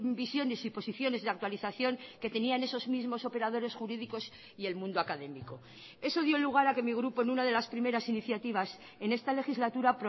visiones y posiciones de actualización que tenían esos mismos operadores jurídicos y el mundo académico eso dio lugar a que mi grupo en una de las primeras iniciativas en esta legislatura